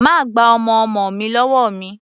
Má gba ọmọ ọmọ mi lọ́wọ́ mi!